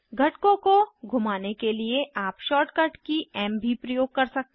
घटकों को घूमाने के लिए आप शॉर्टकट की एम भी प्रयोग कर सकते हैं